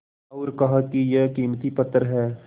और कहा कि यह कीमती पत्थर है